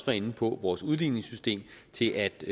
var inde på vores udligningssystem til at